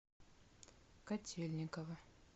котельниково